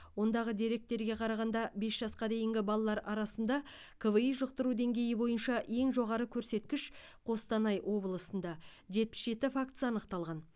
ондағы деректерге қарағанда бес жасқа дейінгі балалар арасында кви жұқтыру деңгейі бойынша ең жоғары көрсеткіш қостанай облысында жетпіс жеті фактісі анықталған